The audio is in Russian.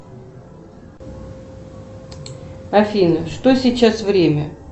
афина что сейчас время